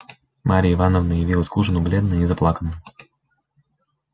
марья ивановна явилась к ужину бледная и заплаканная